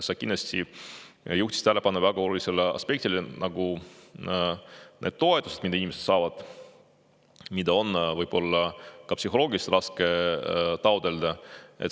Sa juhtisid tähelepanu väga olulisele aspektile, et neid toetusi, mida inimesed saavad, on võib-olla ka psühholoogiliselt raske taotleda.